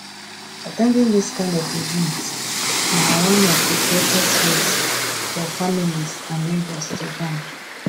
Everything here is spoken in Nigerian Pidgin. at ten ding this kind of events na one of the greatest ways for families and neighbours to bond